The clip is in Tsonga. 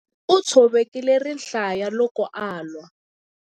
U tshovekile rihlaya loko a lwa.